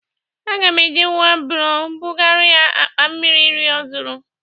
Aga m e ji wịlbaro bụgara ya akpa mmiri iri ọ zụrụ.